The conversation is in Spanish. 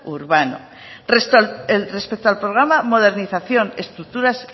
urbano respecto al programa modernización y estructuras